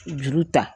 Juru ta